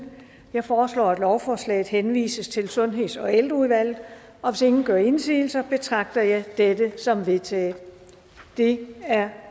jeg foreslår at lovforslaget henvises til sundheds og ældreudvalget og hvis ingen gør indsigelse betragter jeg dette som vedtaget det er